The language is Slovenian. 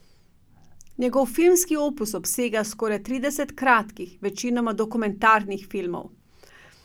Njegov filmski opus obsega skoraj trideset kratkih, večinoma dokumentarnih filmov.